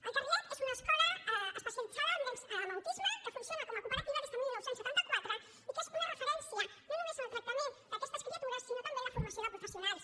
el carrilet és una escola especialitzada en nens amb autisme que funciona com a cooperativa des de dinou setanta quatre i que és una referència no només en el tractament d’aquestes criatures sinó també en la formació de professionals